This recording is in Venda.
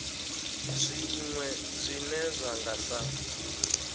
zwiwe zwine zwa nga sa